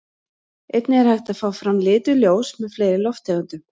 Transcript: Einnig er hægt að fá fram lituð ljós með fleiri lofttegundum.